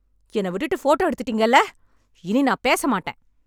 என்ன விட்டுட்டு ஃபோட்டோ எடுத்துட்டீங்கல்ல இனி நான் பேச மாட்டேன்